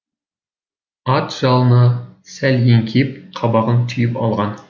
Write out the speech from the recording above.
ат жалына сәл еңкейіп қабағын түйіп алған